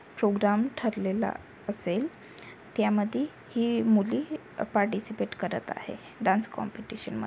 programme ठरलेला असेल त्यामध्ये ही मुली पार्टीसिपेट करत आहे डान्स कॉम्पिटिशन म--